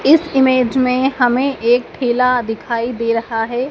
इस इमेज में हमे एक ठेला दिखाई दे रहा है।